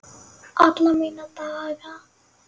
Alla mína daga.